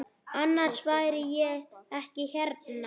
Annars væri ég ekki hérna.